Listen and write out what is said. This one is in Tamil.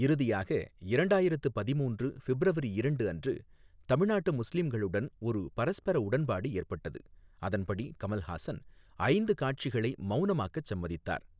இறுதியாக இரண்டாயிரத்து பதிமூன்று ஃபிப்ரவரி இரண்டு அன்று தமிழ்நாட்டு முஸ்லிம்களுடன் ஒரு பரஸ்பர உடன்பாடு ஏற்பட்டது, அதன்படி கமல்ஹாசன் ஐந்து காட்சிகளை மௌனமாக்கச் சம்மதித்தார்.